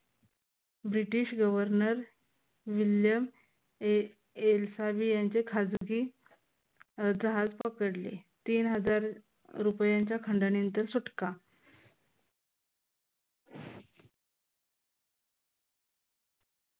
British governor William एलसावी यांचे खाजगी जहाज पकडले. तीन हजार रुपयांच्या खंडणी नंतर सुटका.